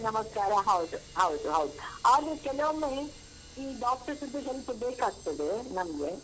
ನಮಸ್ಕಾರ ಹೌದು ಹೌದು ಹೌದು ಆದ್ರೂ ಕೆಲವೊಮ್ಮೆ ಈ doctor ಸುದ್ದು ಹೆಲ್ಪು ಬೇಕಾಗ್ತದೆ ನಮ್ಗೆ.